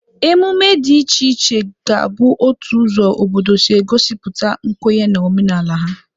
Ememe dị iche iche ga-abụ otu ụzọ obodo si egosipụta nkwenye na omenala ha.